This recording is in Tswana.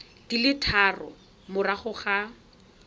di le tharo morago ga